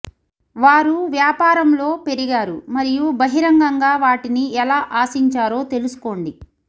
వారు వ్యాపారంలో పెరిగారు మరియు బహిరంగంగా వాటిని ఎలా ఆశించారో తెలుసుకోండి